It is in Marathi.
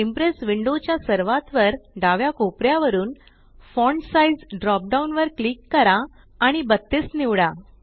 इंप्रेस विंडो च्या सर्वात वर डाव्या कोपऱ्यावरून फॉन्ट साइझ ड्रॉप डाउन वर क्लिक करा आणि 32 निवडा